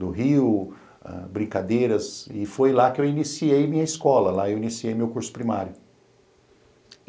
do Rio, brincadeiras, e foi lá que eu iniciei minha escola, lá eu iniciei meu curso primário.